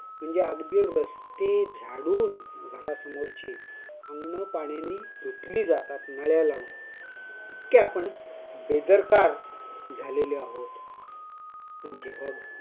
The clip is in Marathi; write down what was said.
म्हणजे अगदी रस्ते झाडून घरासमोरचे अंगण पाण्याने धुतले जातात उन्हाळ्यामध्ये. इतके आपण बेदरकार झालेले आहोत .